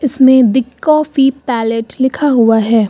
इसमें दी काफी पायलट लिखा हुआ है।